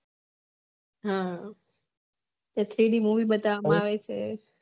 હા પછી એની મોવી બતાવા માં આવે છે